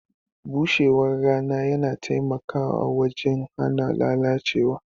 Bushewar rana yana taimakawa wajen hana lalacewa.